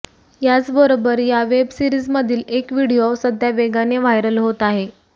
याचबरोबर या वेब सिरीजमधील एक व्हिडीओ सध्या वेगाने व्हायरल होत आहे